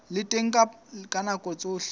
le teng ka nako tsohle